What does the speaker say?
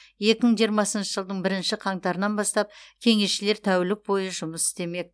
екі мың жиырмасыншы жылдың бірінші қаңтарынан бастап кеңесшілер тәулік бойы жұмыс істемек